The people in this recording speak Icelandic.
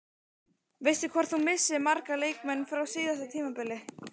Veistu hvort þú missir marga leikmenn frá síðasta tímabili?